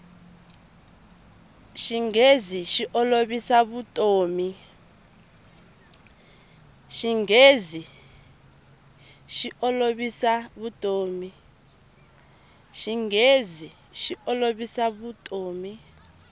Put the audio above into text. xinghezi xi olovisa vutomi